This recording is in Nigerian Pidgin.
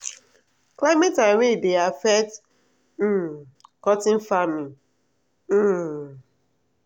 climate and rain dey affect um cotton farming. um